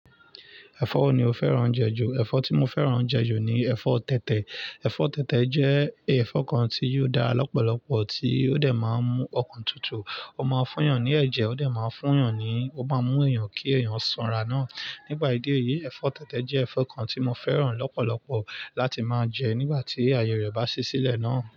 Ẹfọ wo ni o fẹ́ràn jẹ ju. Ẹfọ tí mo fẹ́ràn jẹ ju ni ẹ̀fọ́ tẹ̀tẹ̀. Ẹ̀fọ́ tẹ̀tẹ̀ jẹ́ ẹ̀fọ́ kan tí yiò dára lọ́pọ̀lọpọ̀ tí ó de máa ń mú ọkàn tutù. Ó máa ń fún èèyàn ní ẹ̀jẹ̀, ó dà máa ń fún èèyàn ní, ó má mú èèyàn kí èèyàn sanra náà. Nípà ìdí èyí, ẹ̀fọ́ tẹ̀tẹ̀ jẹ́ ẹ̀fọ́ kan tí mo fẹ́ràn lọ́pọ̀lọpọ̀ láti máa jẹ nígbà tí ayẹ rẹ̀ bá ṣi sílẹ̀ náà.